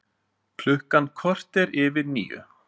Klukkan korter yfir níu